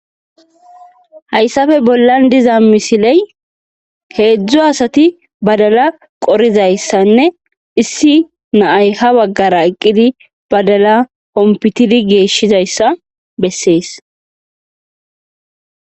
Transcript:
hayssafe bollan diza misiley heedzdzu asati badala qorizayssanne issi na'ay ha baggara eqqidi badala hompitidi geeshshizayssa bessees